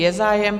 Je zájem.